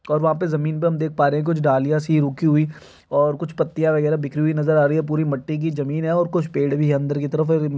और वहाँ पे जमीन पर हम देख पा रहें कुछ डालियाँ सी रूखी हुई और कुछ पत्तियाँ वगैरा बिखरी हुई नज़र आ रहीं पूरी मट्टी की ज़मीन है और कुछ पेड़ भी है अंदर की तरफ--